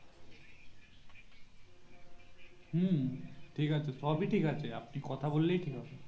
হু ঠিক আছে সবেই ঠিক আছে আপনি কথা বললেই ঠিক হবে